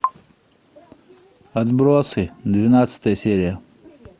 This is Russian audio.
отбросы двенадцатая серия